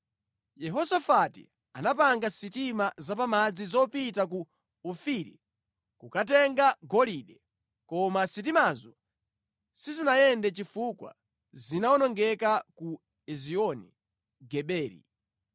Yehosafati anapanga sitima zapamadzi zopita ku Ofiri kukatenga golide, koma sitimazo sizinayende chifukwa zinawonongeka ku Ezioni Geberi.